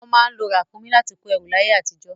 Wọ́n má ń lo ràkúnmí láti kó ẹrù láyé àtijọ́.